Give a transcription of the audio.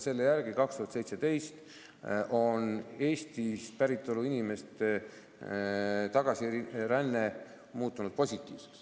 Selle järgi muutus 2017. aastal Eesti päritolu inimeste tagasiränne positiivseks.